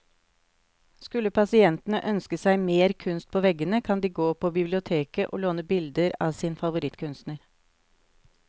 Skulle pasientene ønske seg mer kunst på veggene, kan de gå på biblioteket å låne bilder av sin favorittkunstner.